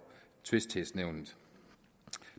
tvistighedsnævnet